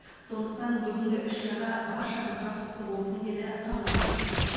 сондықтан бүгінгі іс шара баршамызға құтты болсын деді қала басшысы